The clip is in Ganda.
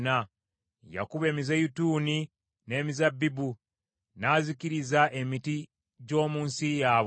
Yakuba emizeeyituuni n’emizabbibu, n’azikiriza emiti gy’omu nsi yaabwe.